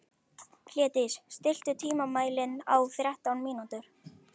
Hlédís, stilltu tímamælinn á þrettán mínútur.